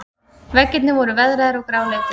Veggirnir voru veðraðir og gráleitir.